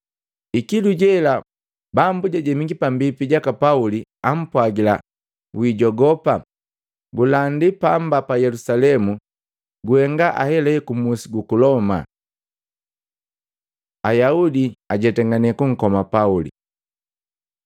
Ikilu jela Bambu jajemiki pambipi jaka Pauli, ampwagila, “Wiijogopa! Gulandi pamba pa Yelusalemu, guhenga ahelahe kumusi guku Loma.” Ayaudi ajetangane kunkoma Pauli